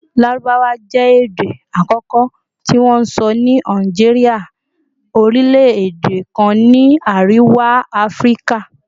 Larubawa jẹ ede akọkọ ti wonsọ ni Algeria, orilẹ-ede kan ni Ariwa Afirika